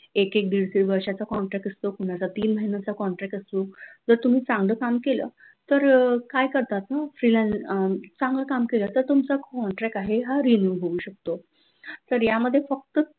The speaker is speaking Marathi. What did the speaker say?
एक एक दीड दीड वर्षांचा contract असतो कुणाचा तीन महिन्यांचा contract जर तुम्ही चांगलं काम केलं तर अह काय करतात freelance चांगलं काम केलं तर तुमचा contract आहे तो तर यामध्ये फक्त